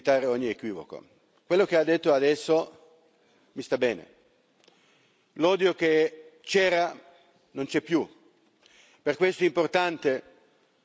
Quello che ha detto adesso mi sta bene l'odio che c'era non c'è più. Per questo è importante dire le parole giuste.